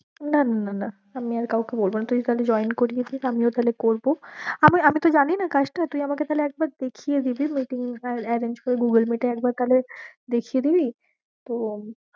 না না না না আমি আর কাউকে বলবো না, তুই তাহলে join করিয়ে দে আমিও তাহলে করবো। আমার আমি তো জানি না কাজটা তুই তাহলে আমাকে একবার দেখিয়ে দিলি meeting arr~ arrange করে google meet এ একবার তাহলে দেখিয়ে দিবি তো উম